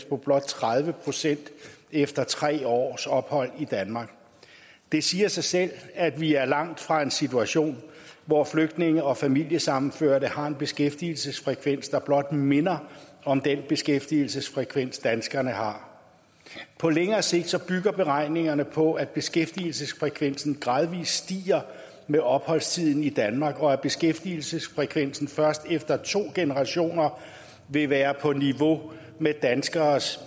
på blot tredive procent efter tre års ophold i danmark det siger sig selv at vi er langt fra en situation hvor flygtninge og familiesammenførte har en beskæftigelsesfrekvens der blot minder om den beskæftigelsesfrekvens danskerne har på længere sigt bygger beregningerne på at beskæftigelsesfrekvensen gradvis stiger med opholdstiden i danmark og at beskæftigelsesfrekvensen først efter to generationer vil være på niveau med danskeres